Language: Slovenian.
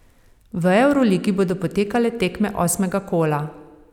V evroligi bodo potekale tekme osmega kola.